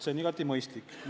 See on igati mõistlik.